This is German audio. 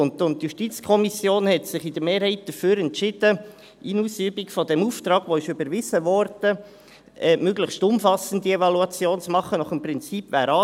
– In Ausübung des Auftrags, der überwiesen wurde, hat sich die JuKo in der Mehrheit dafür entschieden, eine möglichst umfassende Evaluation nach dem Prinzip zu machen: